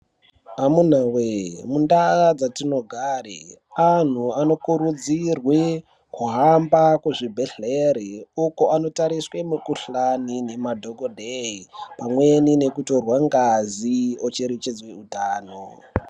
Amunawe mundau dzatinogare anhu anokurudzirwe kuhamba kuzvibhehleri uko anotariswe mukhulhani ngemadhokodheya pamweni nekutorwe ngazi ocherechedze utano.